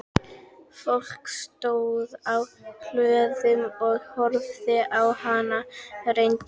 Fólk stóð á hlöðum og horfði á hana renna hjá.